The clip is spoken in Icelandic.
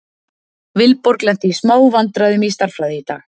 Vilborg lenti í smá vandræðum í stærðfræði í dag.